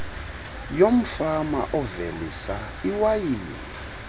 yomfama ovelisa iwayini